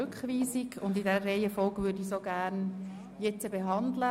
Ich möchte beides zusammen und in der letztgenannten Reihenfolge behandeln.